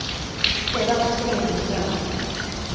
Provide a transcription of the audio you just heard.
Stedet er også tilgjengelig fra land.